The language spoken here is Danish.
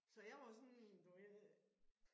Så jeg var jo sådan du ved det